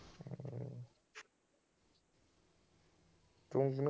ਤੂੰ ਕਿਹਨੂੰ